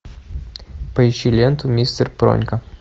поищи ленту мистер пронька